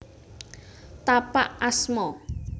Tapak asma